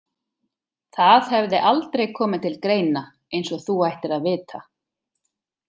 Það hefði aldrei komið til greina eins og þú ættir að vita.